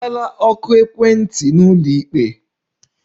Azala oku ekwentị n'ụlọikpe!